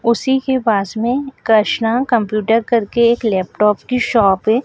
उसी के पास में कृष्णा कंप्यूटर करके एक लैपटॉप की शॉप है।